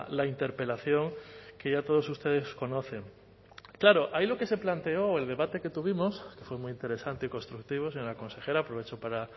la interpelación que ya todos ustedes conocen claro ahí lo que se planteó o el debate que tuvimos fue muy interesante y constructivo señora consejera aprovecho para